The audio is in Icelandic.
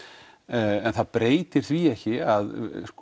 en það breytir því ekki að